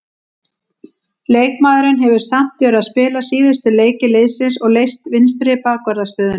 Leikmaðurinn hefur samt verið að spila síðustu leiki liðsins og leyst vinstri bakvarðarstöðuna.